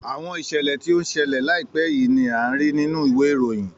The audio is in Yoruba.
Àwọn ìṣẹ̀lẹ̀ tí ó ń ṣẹlẹ̀ láìpé yìí ni án rí nínú ìwé ìròyìn